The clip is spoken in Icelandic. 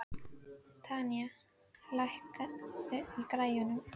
Tanía, lækkaðu í græjunum.